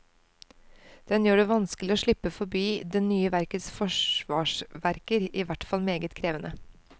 Den gjør det vanskelig å slippe forbi det nye verkets forsvarsverker, ihvertfall meget krevende.